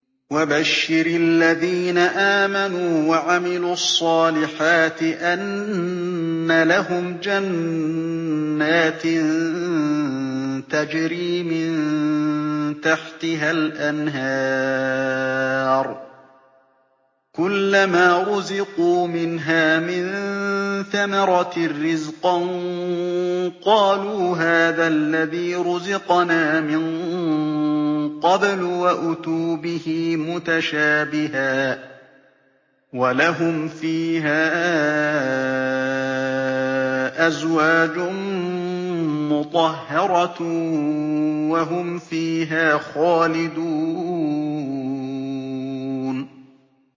وَبَشِّرِ الَّذِينَ آمَنُوا وَعَمِلُوا الصَّالِحَاتِ أَنَّ لَهُمْ جَنَّاتٍ تَجْرِي مِن تَحْتِهَا الْأَنْهَارُ ۖ كُلَّمَا رُزِقُوا مِنْهَا مِن ثَمَرَةٍ رِّزْقًا ۙ قَالُوا هَٰذَا الَّذِي رُزِقْنَا مِن قَبْلُ ۖ وَأُتُوا بِهِ مُتَشَابِهًا ۖ وَلَهُمْ فِيهَا أَزْوَاجٌ مُّطَهَّرَةٌ ۖ وَهُمْ فِيهَا خَالِدُونَ